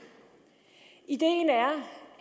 ideen er